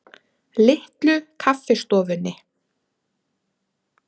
Litlu Kaffistofunni